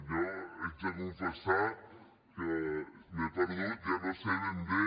jo haig de confessar que m’he perdut ja no sé ben bé